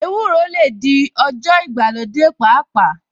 Ewúro lè di ọjọ́ ìgbàlódé pàápàá